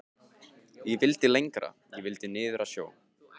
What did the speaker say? Ég vildi lengra. ég vildi niður að sjó.